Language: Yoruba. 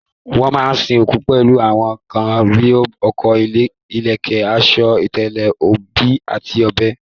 Wọ́n máa sin òkú pẹ̀lú àwọn nǹkan bí ọkọ́, ìlẹ̀kẹ̀, aṣọ, ìtẹ̀lẹ̀, obì àti ọ̀bẹ.